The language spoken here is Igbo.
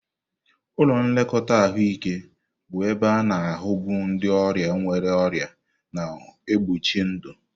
Ụlọ nlekọta ahụike bụ ebe a-na ahu bu ndị ọrịa nwere ọrịa na-egbochi ndụ.